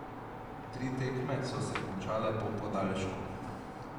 Tri tekme so se končale po podaljšku.